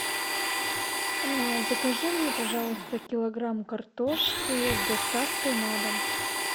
закажи мне пожалуйста килограмм картошки с доставкой на дом